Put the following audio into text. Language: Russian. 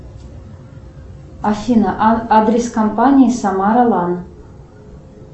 афина адрес компании самара лан